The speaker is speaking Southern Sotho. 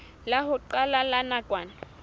la ho qala la nakwana